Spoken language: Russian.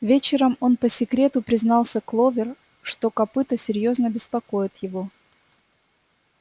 вечером он по секрету признался кловер что копыто серьёзно беспокоит его